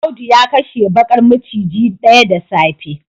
Audu ya kashe bakar maciji daya da safe